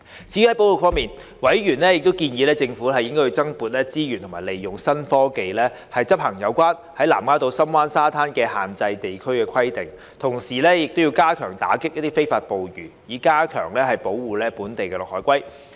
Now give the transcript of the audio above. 至於保育方面，委員建議政府增撥資源及利用新科技執行有關南丫島深灣沙灘的限制地區規定，同時加強打擊非法捕魚，以加強保護本地綠海龜。